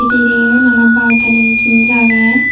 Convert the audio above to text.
ye mane balkanan jinis agey.